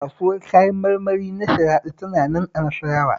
Kasuwar Kayan marmari ta Sharaɗa tana nan a Nasarawa